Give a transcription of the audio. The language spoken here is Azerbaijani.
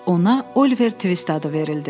Ona Oliver Twist adı verildi.